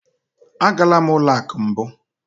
Agala m ụlọ akụ mbụ.